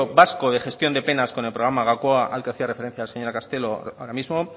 vasco de gestión de penas con el programa gaukoa al que hacía referencia la señora castelo ahora mismo